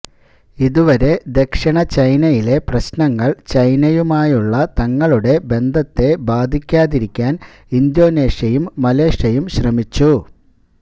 ഇതുവരെ ദക്ഷിണ ചൈനയിലെ പ്രശ്നങ്ങൾ ചൈനയുമായുള്ള തങ്ങളുടെ ബന്ധത്തെ ബാധിക്കാതിരിക്കാൻ ഇന്തോനേഷ്യയും മലേഷ്യയും ശ്രമിച്ചു